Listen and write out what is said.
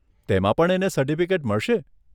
તેમાં પણ એને સર્ટિફિકેટ મળશે?